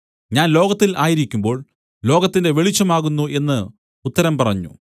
ഞാൻ ലോകത്തിൽ ആയിരിക്കുമ്പോൾ ലോകത്തിന്റെ വെളിച്ചം ആകുന്നു എന്നു ഉത്തരം പറഞ്ഞു